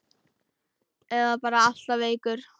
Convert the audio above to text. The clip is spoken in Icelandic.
Eða bara alltaf veikur.